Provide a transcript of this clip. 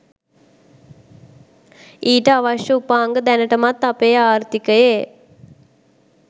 ඊට අවශ්‍ය උපාංග දැනටමත් අපේ ආර්ථිකයේ